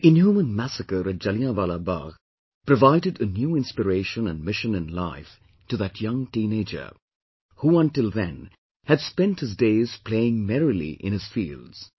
The inhuman massacre at Jallianwalla Bagh, provided a new inspiration and mission in life to that young teenager, who until then had spent his days playing merrily in his fields